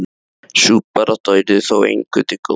Sú barátta yrði þó engum til góðs.